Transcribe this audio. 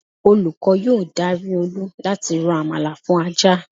Olúkọ́ yóò dari Olú láti rò àmàlà fún ajá